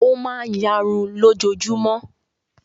Ó máa ń ìyarun lójoojúmọ́.